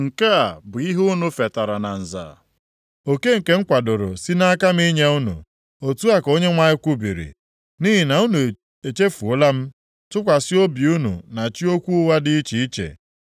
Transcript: Nke a bụ ihe unu fetara na nza, oke nke m kwadoro si nʼaka m inye unu.” Otu a ka Onyenwe anyị kwubiri. “Nʼihi na unu echefuola m, tụkwasị obi unu na chi okwu ụgha dị iche iche.